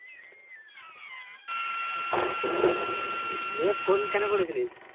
দিয়ে phone কেন করেছিলিস